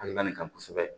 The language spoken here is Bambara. Alibɛri kan kosɛbɛ